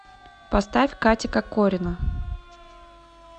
поставь катя кокорина